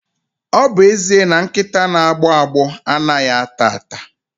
Ọ bụ eziokwu na nkịta na-agbọ agbọ anaghị ata ata.